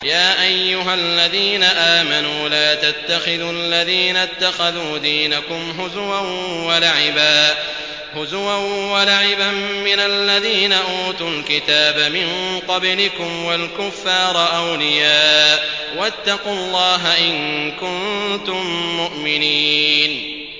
يَا أَيُّهَا الَّذِينَ آمَنُوا لَا تَتَّخِذُوا الَّذِينَ اتَّخَذُوا دِينَكُمْ هُزُوًا وَلَعِبًا مِّنَ الَّذِينَ أُوتُوا الْكِتَابَ مِن قَبْلِكُمْ وَالْكُفَّارَ أَوْلِيَاءَ ۚ وَاتَّقُوا اللَّهَ إِن كُنتُم مُّؤْمِنِينَ